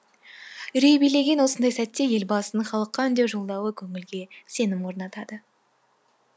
үрей билеген осындай сәтте елбасының халыққа үндеу жолдауы көңілге сенім орнатады